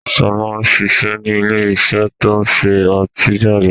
Sọlá ń ṣiṣẹ́ ni ilé iṣẹ́ to ń ṣe ọtí jáde